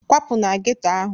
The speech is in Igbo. Kwapụ na geto ahụ!